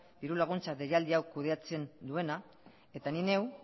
dirulaguntza deialdi hau kudeatzen duena eta ni neu